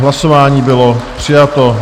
Hlasování: bylo přijato.